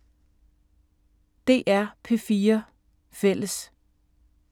DR P4 Fælles